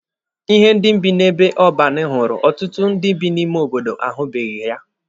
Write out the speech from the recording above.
Ihe ndị bi n'ebe ọban hụrụ, ọtụtụ ndị bi n'ime obodo ahụbeghị ya.